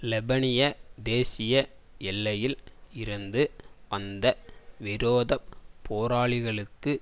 லெபனிய தேசிய எல்லையில் இருந்து வந்த விரோத போராளிகளுக்கு